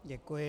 Děkuji.